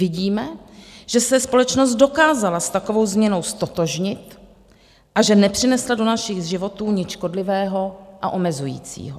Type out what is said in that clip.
Vidíme, že se společnost dokázala s takovou změnou ztotožnit a že nepřinesla do našich životů nic škodlivého a omezujícího.